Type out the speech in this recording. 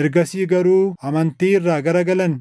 ergasii garuu amantii irraa gara galan,